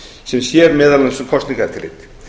sem sér meðal annars um kosningaeftirlit